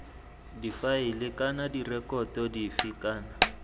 difaele kana direkoto dife kana